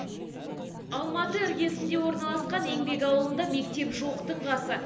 алматы іргесінде орналасқан еңбек ауылында мектеп жоқтың қасы